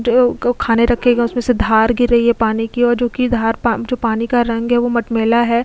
खाने रखेगा उसमें से धार गिर रही है पानी की और जो की धार जो पानी का रंग है वह मट मैला है।